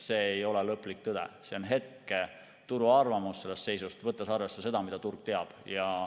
See ei ole lõplik tõde, see on turu hetkearvamus sellest seisust, võttes arvesse seda, mida turg teab.